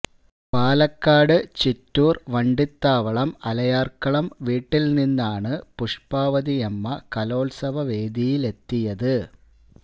പാലക്കാട് ചിറ്റൂര് വണ്ടണ്ടി ത്താവളം അലയാര്ക്കളം വീട്ടില് നിന്നാണ് പുഷ്പാവതിയമ്മ കലോത്സവ വേദിയിലെത്തിയത്